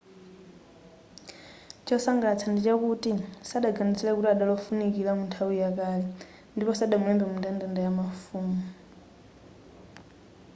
chosangalatsa ndichakuti sadaganizire kuti adali wofunikira mu nthawi ya kale ndipo sadamulembe mu mndandanda wamafumu